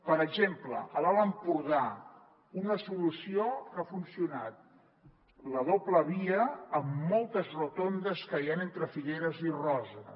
per exemple a l’alt empordà una solució que ha funcionat la doble via amb moltes rotondes que hi ha entre figueres i roses